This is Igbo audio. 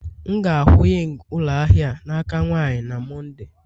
M ga-akwụ ying ụlọ ahịa a n'aka nwanyị na Mọnde